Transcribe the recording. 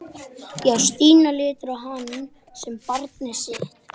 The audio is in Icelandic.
Já, Stína lítur á hann sem barnið sitt.